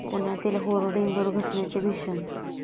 पुण्यातील होर्डिंग दुर्घटनेचे भीषण